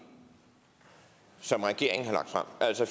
som den regeringen har lagt frem altså